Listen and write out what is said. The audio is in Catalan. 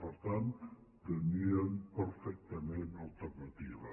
per tant tenien perfectament alternativa